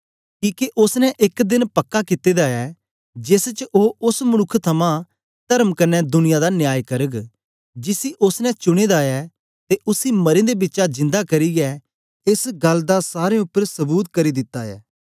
किके ओसने एक देन पक्का कित्ते दा ऐ जेस च ओ ओस मनुक्ख थमां तर्म कन्ने दुनिया दा न्याय करग जिसी ओसने चुनें दा ऐ ते उसी मरें दे बिचा जिन्दा करियै एस गल्ल दा सारें उपर सबूत करी दिती ऐ